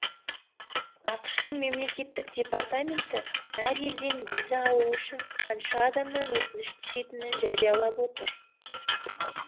ақш тың мемлекеттік департаменті әр елден виза алу үшін қанша адамнан өтініш түсетінін жариялап отыр